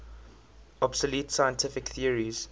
obsolete scientific theories